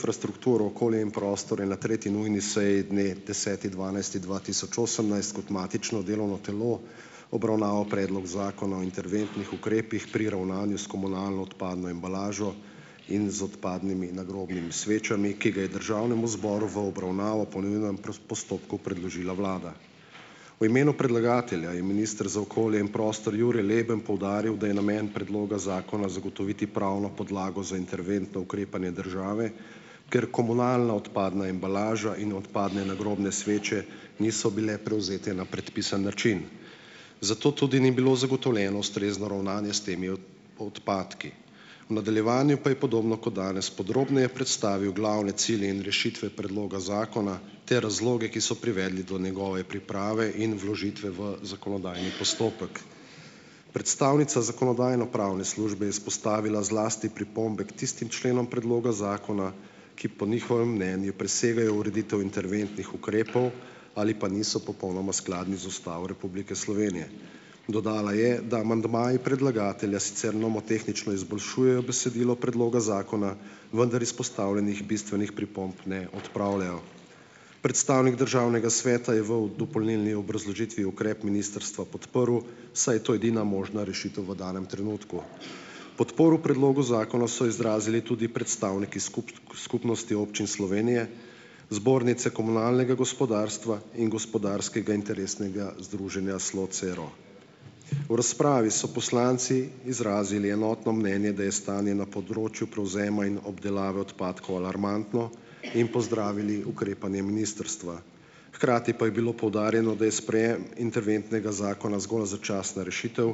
frastrukturo, okolje in prostor je na tretji nujni seji dne deseti dvanajsti dva tisoč osemnajst kot matično delovno telo obravnaval Predlog zakona o interventnih ukrepih pri ravnanju s komunalno odpadno embalažo in z odpadnimi nagrobnimi svečami, ki ga je državnemu zboru v obravnavo po nujnem postopku predložila vlada. V imenu predlagatelja je minister za okolje in prostor Jure Leben poudaril, da je namen predloga zakona zagotoviti pravno podlago za interventno ukrepanje države, ker komunalna odpadna embalaža in odpadne nagrobne sveče niso bile prevzete na predpisan način, zato tudi ni bilo zagotovljeno ustrezno ravnanje s temi odpadki. V nadaljevanju pa je podobno kot danes podrobneje predstavil glavne cilje in rešitve predloga zakona te razloge, ki so privedli do njegove priprave in vložitve v zakonodajni postopek. Predstavnica zakonodajno-pravne službe je izpostavila zlasti pripombe k tistim členom predloga zakona, ki po njihovem mnenju presegajo ureditev interventnih ukrepov ali pa niso popolnoma skladni z Ustavo Republike Slovenije. Dodala je, da amandmaji predlagatelja sicer nomotehnično izboljšujejo besedilo predloga zakona, vendar izpostavljenih bistvenih pripomb ne odpravljajo. Predstavnik državnega sveta je v dopolnilni obrazložitvi ukrep ministrstva podprl, saj je to edina možna rešitev v danem trenutku. Podporo predlogu zakona so izrazili tudi predstavniki Skupnosti občin Slovenije, Zbornice komunalnega gospodarstva in Gospodarskega interesnega združenja Slocero. V razpravi so poslanci izrazili enotno mnenje, da je stanje na področju prevzema in obdelave odpadkov alarmantno, in pozdravili ukrepanje ministrstva. Hkrati pa je bilo poudarjeno, da je interventnega zakona zgolj začasna rešitev,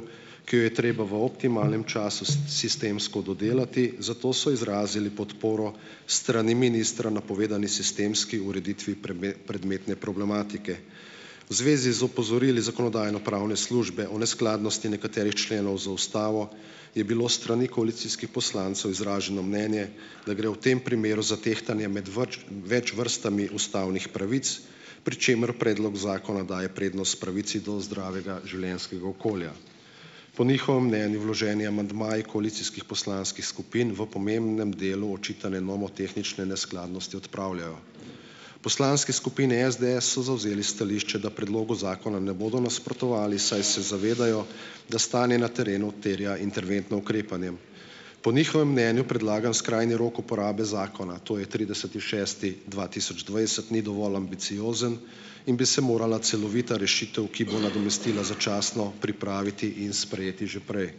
ki jo je treba v optimalnem času sistemsko dodelati , zato so izrazili podporo s strani ministra napovedani sistemski ureditvi prometne problematike. V zvezi z opozorili zakonodajno-pravne službe o neskladnosti nekaterih členov z ustavo je bilo s strani koalicijskih poslancev izraženo mnenje, da gre v tem primeru za tehtanje med več več vrstami ustavnih pravic, pri čemer predlog zakona daje prednost pravici do zdravega življenjskega okolja. Po njihovem mnenju vloženi amandmaji koalicijskih poslanskih skupin v pomembnem delu očitane nomotehnične neskladnosti odpravljajo. V poslanski skupini SDS so zavzeli stališče, da predlogu zakona ne bodo nasprotovali, saj se zavedajo , da stanje na terenu terja interventno ukrepanje. Po njihovem mnenju predlagani skrajni rok uporabe zakona, to je trideseti šesti dva tisoč dvajset, ni dovolj ambiciozen in bi se morala celovita rešitev, ki bo nadomestila začasno , pripraviti in sprejeti že prej.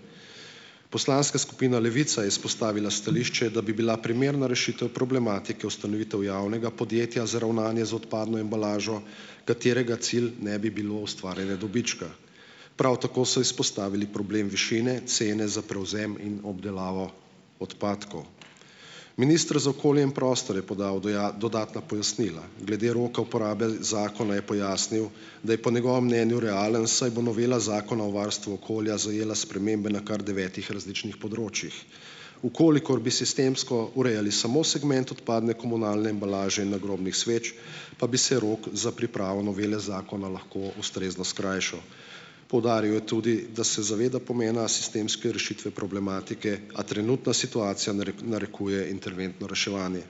Poslanska skupina Levica je izpostavila stališče, da bi bila primerna rešitev problematike ustanovitev javnega podjetja za ravnanje z odpadno embalažo, katerega cilj ne bi bilo ustvarjanje dobička. Prav tako so izpostavili problem višine cene za prevzem in obdelavo odpadkov. Minister za okolje in prostor je podal dodatna pojasnila. Glede roka uporabe zakona je pojasnil, da je po njegovem mnenju realen, saj bo novela Zakona o varstvu okolja zajela spremembe na kar devetih različnih področjih. V kolikor bi sistemsko urejali samo segment odpadne komunalne embalaže in nagrobnih sveč, pa bi se rok za pripravo novele zakona lahko ustrezno skrajšal. Poudaril je tudi, da se zaveda pomena sistemske rešitve problematike, a trenutna situacija narekuje interventno reševanje.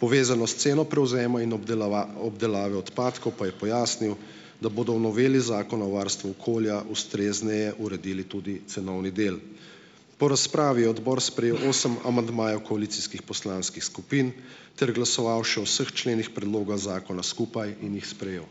Povezano s ceno prevzema in obdelave odpadkov pa je pojasnil, da bodo v noveli Zakona o varstvu okolja ustrezneje uredili tudi cenovni del. Po razpravi je odbor sprejel osem amandmajev koalicijskih poslanskih skupin ter glasoval še o vseh členih predloga zakona skupaj in jih sprejel.